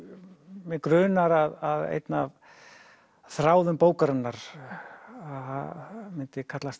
mig grunar að einn af þráðum bókarinnar myndi kallast